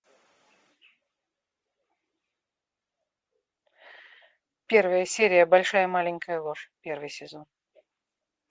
первая серия большая маленькая ложь первый сезон